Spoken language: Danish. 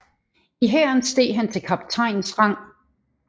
I hæren steg han til kaptajnsrang